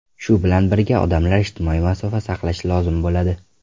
Shu bilan birga, odamlar ijtimoiy masofa saqlashi lozim bo‘ladi.